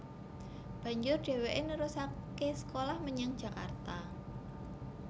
Banjur dheweke nerusake sekolah menyang Jakarta